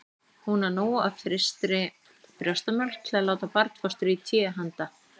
Hún á nóg af frystri brjóstamjólk til að láta barnfóstru í té handa